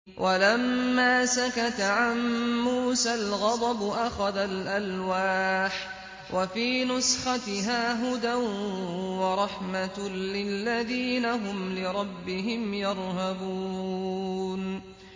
وَلَمَّا سَكَتَ عَن مُّوسَى الْغَضَبُ أَخَذَ الْأَلْوَاحَ ۖ وَفِي نُسْخَتِهَا هُدًى وَرَحْمَةٌ لِّلَّذِينَ هُمْ لِرَبِّهِمْ يَرْهَبُونَ